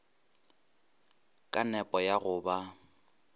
ka nepo ya go ba